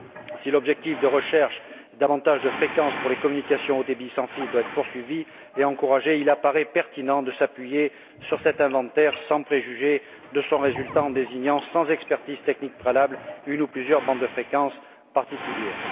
Si l'objectif de recherche de davantage de fréquences pour les communications haut débit sans fil doit être poursuivi et encouragé, il apparaît pertinent de s'appuyer sur cet inventaire sans préjuger de son résultat en désignant, sans expertise technique préalable, une ou plusieurs bandes de fréquences particulières.